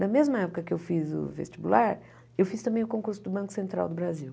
Na mesma época que eu fiz o vestibular, eu fiz também o concurso do Banco Central do Brasil.